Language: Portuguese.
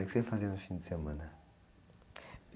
O que você fazia no fim de semana?